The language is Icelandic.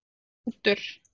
Hrútur